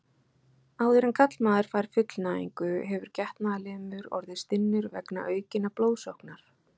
Áður en karlmaður fær fullnægingu hefur getnaðarlimur orðið stinnur vegna aukinnar blóðsóknar.